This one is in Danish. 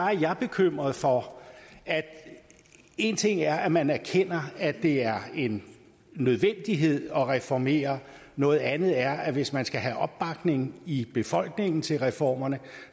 er jeg bekymret for en ting er at man erkender at det er en nødvendighed at reformere noget andet er at hvis man skal have opbakning i befolkningen til reformerne